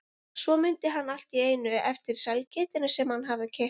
Svo mundi hann allt í einu eftir sælgætinu sem hann hafði keypt.